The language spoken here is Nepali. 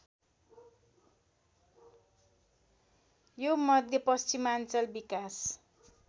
यो मध्यपश्चिमाञ्चल विकास